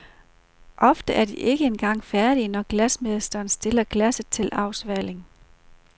Og ofte er de ikke engang færdige, når glasmesteren stiller glasset til afsvaling.